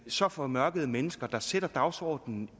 så formørkede mennesker der sætter dagsordenen